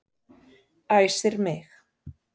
Æsir mig.